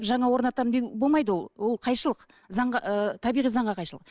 жаңа орнатамын деген болмайды ол ол қайшылық заңға ы табиғи заңға қайшылық